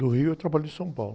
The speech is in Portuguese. Do Rio, e trabalham em São Paulo.